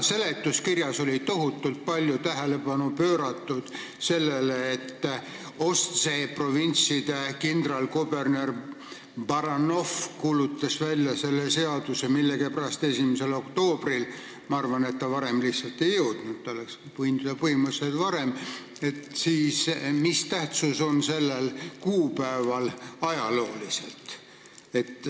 Seletuskirjas oli tohutult palju tähelepanu pööratud sellele, et Ostsee provintside kindralkuberner Baranoff kuulutas välja selle seaduse millegipärast 1. oktoobril – ma arvan, et ta varem lihtsalt ei jõudnud, põhimõtteliselt oleks võinud seda teha juba varem –, siis mis tähtsus on sellel kuupäeval ajaloolises mõttes.